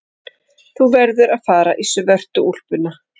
Þú verður að fara í svörtu úlpuna.